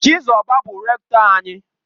Chizoba bu Rektọ anyi.